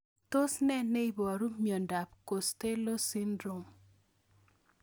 Tos nee neiparu miondop Costello syndrome